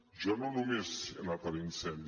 jo no només he anat a l’incendi